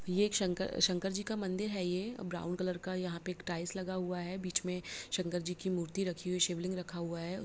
ये एक शंकर शंकर जी का मंदिर है ये ब्राउन कलर का यहाँ पे एक टाइल्स लगा हुआ है बीच में शंकर जी का मूर्ति रखी हुई है शिवलिंग रखा हुआ है।